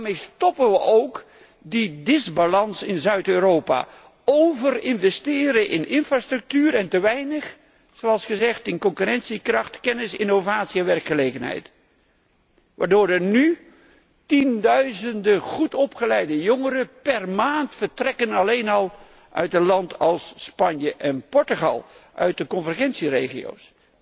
Daarmee stoppen we ook dat gebrek aan evenwicht in Zuid Europa overinvesteren in infrastructuur en te weinig, zoals gezegd, in concurrentiekracht, kennis, innovatie en werkgelegenheid waardoor er nu tienduizenden goedopgeleide jongeren per maand vertrekken alleen al uit landen als Spanje en Portugal, uit de convergentieregio's.